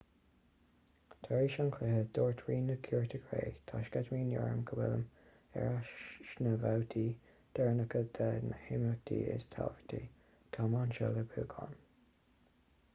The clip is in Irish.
tar éis an chluiche dúirt rí na cúirte cré tá sceitimíní orm go bhfuilim ar ais sna babhtaí deireanacha de na himeachtaí is tábhachtaí táim anseo le buachan